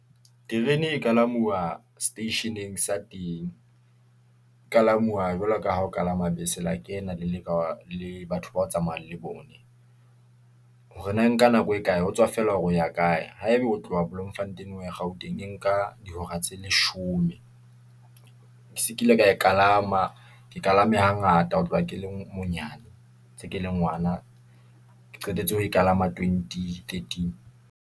Terene e kalamuwa seteisheneng sa teng , e kalamuwa jwalo ka ha o kalama bese, la leka le batho bao tsamayang le bone . Hore na nka nako e kae ho tswa feela hore o ya kae, haeba o tlo ho bloemfontein o ya gauteng, e nka dihora tse leshome . Ke se ke ile ka e kalama, ke kalame hangata ho tloha ke le monyane, ntse ke le ngwana, ke qetetse ho e kalama 2013.